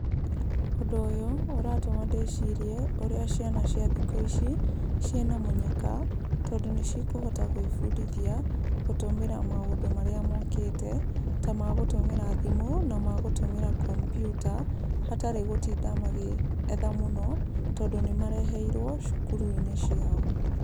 Ũndũ ũyũ ũratũma ndĩcirie ũrĩa ciana cia thikũ ici ciĩna mũnyaka tondũ nĩ cikũhota gũĩbundithia gũtũmĩra maũndũ marĩa mokĩte ta magũtũmĩra thimũ, na magũtũmĩra kompiuta, hatarĩ gũtinda magĩetha mũno, tondũ nĩ mareheirwo cukuru-inĩ ciao.